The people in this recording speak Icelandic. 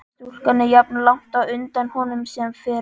Stúlkan er jafnlangt á undan honum sem fyrr.